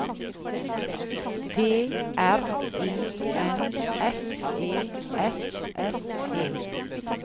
P R I N S E S S E